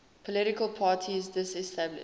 political parties disestablished